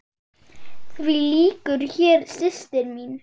Því lýkur hér, systir mín.